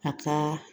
A ka